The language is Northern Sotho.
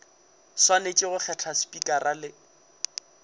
swanetše go kgetha spikara le